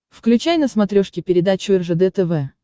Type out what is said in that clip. включай на смотрешке передачу ржд тв